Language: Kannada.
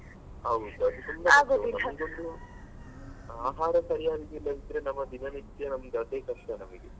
ಹೌದು ಅದು ತುಂಬಾ ಆಹಾರ ಸರಿಯಾಗಿ ಇಲ್ಲದಿದ್ರೆ ನಮ್ಮ ದಿನನಿತ್ಯ ಒಂದ್ ಅದೇ ಕಷ್ಟ ನಮಿಗೆ.